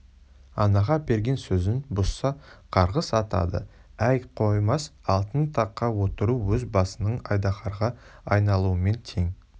анаға берген сөзін бұзса қарғыс атады әй қоймас алтын таққа отыру өз басыңның айдаһарға айналуымен тең